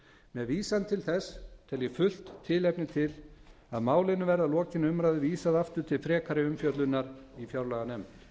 með vísan til þess tel ég fullt tilefni til að málinu verði að lokinni umræðu vísað aftur til frekari umfjöllunar í fjárlaganefnd